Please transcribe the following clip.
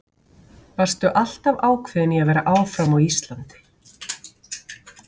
Varstu alltaf ákveðin í að vera áfram á Íslandi?